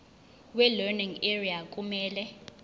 welearning area kumele